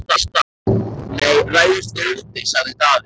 Nei, ræðumst við úti, sagði Daði.